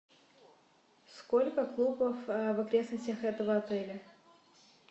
сколько клубов в окрестностях этого отеля